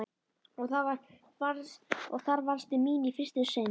Og þar varðstu mín í fyrsta sinn.